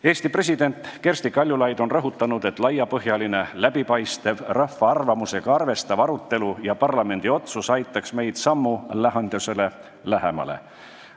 Eesti president Kersti Kaljulaid on rõhutanud, et laiapõhjaline läbipaistev rahva arvamusega arvestav arutelu ja parlamendi otsus aitaks meid lahendusele sammu võrra lähemale.